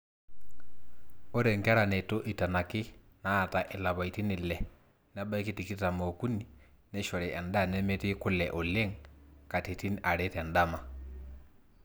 ore nkera neitu eitanaki naata ilapaitin ile nebaiki tikitam ookuni neishori endaa nemetii kule oleng katitin are tendama